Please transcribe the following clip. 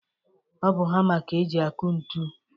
Ọ bụ hama ka e ji akụ ntu.